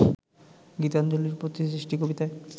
গীতাঞ্জলির ‘প্রতিসৃষ্টি’ কবিতায়